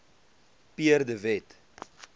pierre de wet